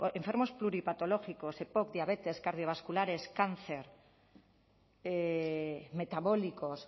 enfermos pluripatológicos epoc diabetes cardiovasculares cáncer metabólicos